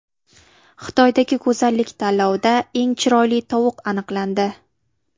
Xitoydagi go‘zallik tanlovida eng chiroyli tovuq aniqlandi.